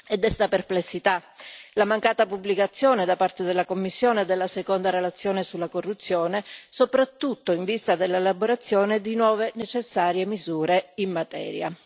Desta perplessità la mancata pubblicazione da parte della Commissione della seconda relazione sulla corruzione, soprattutto in vista dell'elaborazione di nuove necessarie misure in materia.